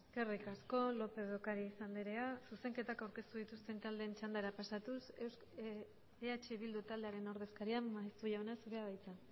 eskerrik asko lópez de ocáriz andrea zuzenketak aurkeztu dituzten taldeen txandara pasatuz eh bildu taldearen ordezkaria maeztu jauna zurea da hitza